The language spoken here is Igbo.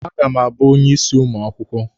A ga m abụ onye isi ụmụ akwụkwọ.